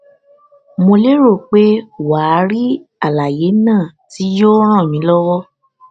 mo lérò pé wà á rí àlàyé náà tí yóò ràn mí lọwọ